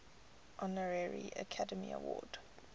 honorary academy award